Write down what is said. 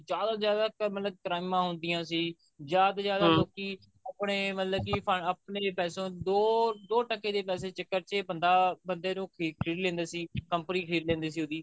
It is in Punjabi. ਜਿਆਦਾ ਤੋਂ ਜਿਆਦਾ ਮਤਲਬ ਕਰਾਈਮਾ ਹੁੰਦਿਆ ਸੀ ਜਿਆਦਾ ਤੋਂ ਜਿਆਦਾ ਆਪਣੇ ਮਤਲਬ ਕਿ ਆਪਣੇ ਪੈਸੋ ਦੋ ਟਕੇ ਦੇ ਪੈਸੇ ਦੇ ਚੱਕਰ ਚ ਬੰਦਾ ਬੰਦੇ ਨੂੰ ਖਰੀਦ ਲੈਂਦੇ ਸੀ company ਖਰੀਦ ਲੈਂਦੇ ਸੀ ਉਹਦੀ